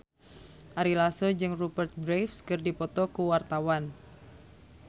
Ari Lasso jeung Rupert Graves keur dipoto ku wartawan